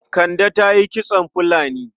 Kande ta yi kitson fulani.